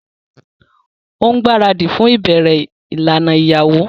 O ngbaradi fún ìlànà ibẹrẹ ìyàwó